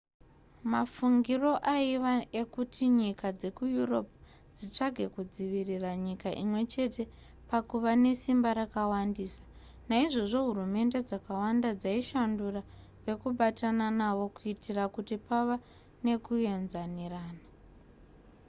mafungiro aiva ekuti nyika dzekueurope dzitsvage kudzivirira nyika imwechete pakuva nesimba rakawandisa naizvozvo hurumende dzakawanda dzaishandura vekubatana navo kuitira kuti pave nekuaenzanirana